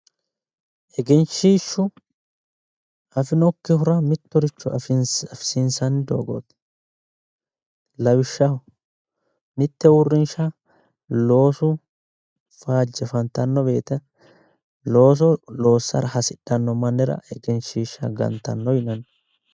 Egenshiishshu afi'nokkihura mittoricho afisiinsanni doogooti, lawishshaho, mitte uurrinsha loosu faajje fantanno woyte looso loossara hasidhanno mannira egenshiishsha gantanno yinanni.